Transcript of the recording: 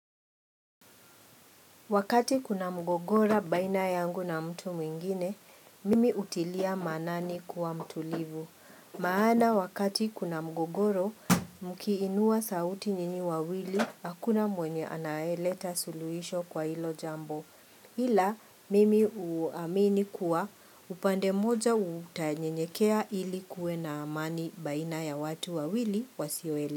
Wakati kuna mgogoro baina yangu na mtu mwingine, mimi hutilia maanani kuwa mtulivu. Maana wakati kuna mgogoro, mkiinua sauti nyinyi wawili, hakuna mwenye anayeleta suluisho kwa hilo jambo. Ila, mimi huamini kuwa upande mmoja utanyenyekea ili kuwe na amani baina ya watu wawili wasioele.